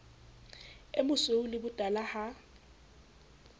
o mosweu le botala ha